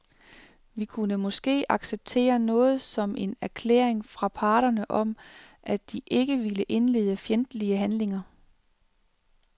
Vi kunne måske acceptere noget som en erklæring fra parterne om, at de ikke vil indlede fjendtlige handlinger.